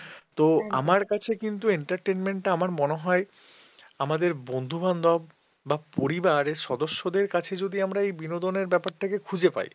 আমার কাছে কিন্তু entertainment টা আমার মনে হয় আমাদের বন্ধু-বান্ধব বা পরিবারের সদস্যদের কাছে যদি আমরা বিনোদনের ব্যাপারটা যদি খুঁজে পাই